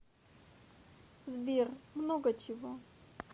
сбер много чего